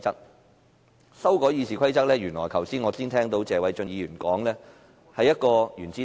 有關修改《議事規則》，我剛才聽到謝偉俊議員說這是一顆"原子彈"。